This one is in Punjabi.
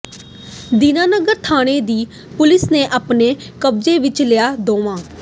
ਦੀਨਾਨਗਰ ਥਾਣੇ ਦੀ ਪੁਲਿਸ ਨੇ ਆਪਣੇ ਕਬਜ਼ੇ ਵਿੱਚ ਲਿਆ ਦੋਵਾਂ